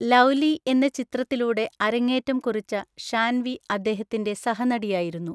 Lovely എന്ന ചിത്രത്തിലൂടെ അരങ്ങേറ്റം കുറിച്ച ഷാൻവി അദ്ദേഹത്തിന്റെ സഹനടിയായിരുന്നു.